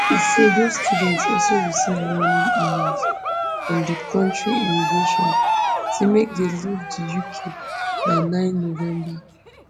e say dose students also receive warning emails from di kontri immigration say make dey leave di uk by nine november